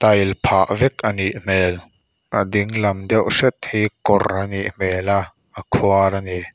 phah vek a nih hmel a dinglan deuh hret hi kawr a nih hmel a a khuar a ni.